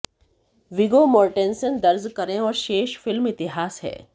विगो Mortensen दर्ज करें और शेष फिल्म इतिहास है